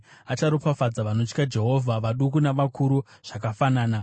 acharopafadza vanotya Jehovha, vaduku navakuru zvakafanana.